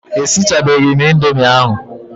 E sichabeghi m indomie ahụ.